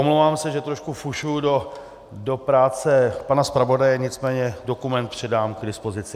Omlouvám se, že trošku fušuji do práce pana zpravodaje, nicméně dokument předám k dispozici.